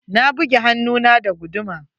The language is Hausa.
Na buge hannun na da guduma.